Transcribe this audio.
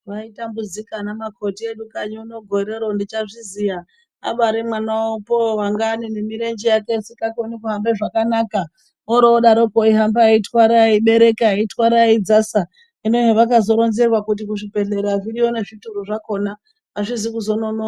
Vaitambudzika ana makoti edu kanyi uno gorero ndichazviziya abare manwa wavopo wanga ane nemirenje yake isingakoni kuhambe zvakanaka orodaroko eihamba eibereka eirwara eidzasa hinohe vakazoronzerwa kuti kuzvibhedhlera zviriyo zvakona azvizi kuzononoka.